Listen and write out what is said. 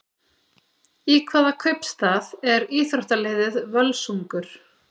Í hvaða kaupstað er íþróttaliðið Völsungur?